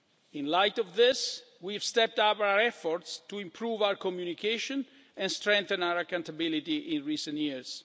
In light of this, we have stepped up our efforts to improve our communication and strengthen our accountability in recent years.